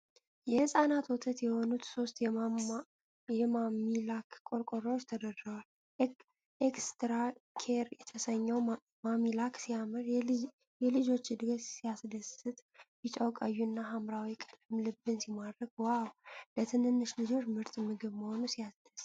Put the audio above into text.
የሕፃናት ወተት የሆኑት ሦስት የማሚላክ ቆርቆሮዎች ተደርድረዋል። "ኤክስትራ ኬር" የተሰኘው ማሚላክ ሲያምር! የልጆች እድገት ሲያስደስት! ቢጫው፣ ቀዩና ሐምራዊው ቀለም ልብን ሲማርክ! ዋው! ለትንንሽ ልጆች ምርጥ ምግብ መሆኑ ሲያስደስት!